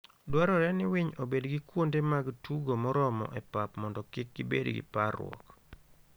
Dwarore ni winy obed gi kuonde mag tugo moromo e pap mondo kik gibed gi parruok.